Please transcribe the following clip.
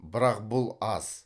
бірақ бұл аз